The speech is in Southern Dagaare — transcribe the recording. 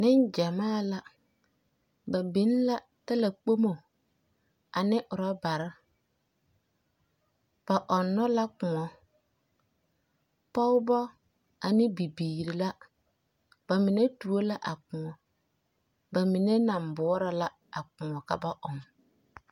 Neŋgyamaa la. Ba biŋ la talakpomo ane ɔrɔbare. Ba ɔnnɔ la kõɔ. Pɔgebɔ ane bibiiri la. Ba mine tuo la a kõɔ. Ba mine naŋ boɔrɔ la a kõɔ ka ba ɔŋ.